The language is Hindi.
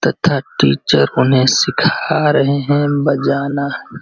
तथा टीचर उन्हें सिखा रहे हैं बजाना।